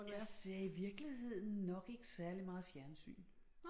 Jeg ser i virkeligheden nok ikke særlig meget fjernsyn